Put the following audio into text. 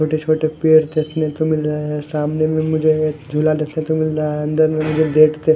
छोटे छोटे पेड़ देखने को मिल रहे है सामने में मुझे एक झूला देखने को मिल रहा है अंदर में मुझे गेट के--